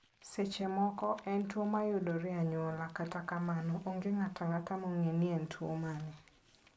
Seche moko en tuwo mayudore e anyuola, kata kamano, onge ng'ato ang'ata mong'eyo ni en tuwo mane.